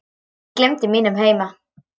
Ég gleymdi mínum heima